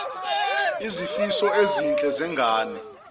izifiso ezinhle zengane